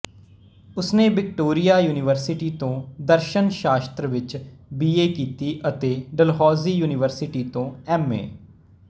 ਉਸਨੇ Victoria University ਤੋਂ ਦਰਸ਼ਨ ਸ਼ਾਸਤਰ ਵਿਚ ਬੀ ਏ ਕੀਤੀ ਅਤੇ ਡਲਹੌਜ਼ੀ ਯੂਨੀਵਰਸਿਟੀ ਤੋਂ ਐਮ